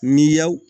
Miy'aw